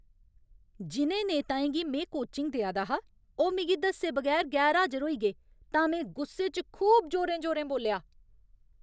जि'नें नेताएं गी में कोचिंग देआ दा हा, ओह् मिगी दस्से बगैर गैरहाजर होई गे तां में गुस्से च खूब जोरें जोरें बोल्लेआ।